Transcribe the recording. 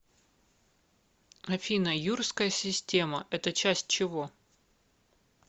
афина юрская система это часть чего